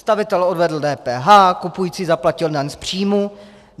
Stavitel odvedl DPH, kupující zaplatil daň z příjmu.